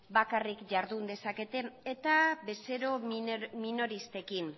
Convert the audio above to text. bakarrik jardun dezakete eta bezero minoristekin